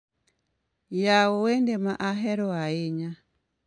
Yao wende ma ahero ahinya